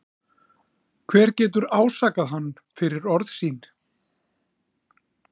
Hver getur ásakað hann fyrir orð sín?